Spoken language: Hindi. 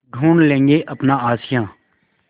ढूँढ लेंगे अपना आशियाँ